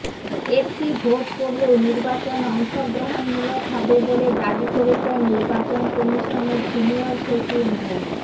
একটি ভোট পড়লেও নির্বাচন অংশগ্রহণমূলক হবে বলে দাবি করেছেন নির্বাচন কমিশনের সিনিয়র সচিব মো